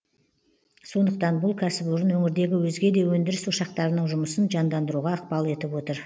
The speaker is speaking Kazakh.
сондықтан бұл кәсіпорын өңірдегі өзге де өндіріс ошақтарының жұмысын жандандыруға ықпал етіп отыр